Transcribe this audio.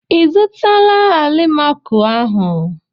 I zụtala alimako ahụ?